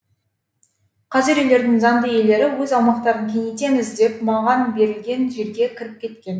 қазір үйлердің заңды иелері өз аумақтарын кеңейтеміз деп маған берілген жерге кіріп кеткен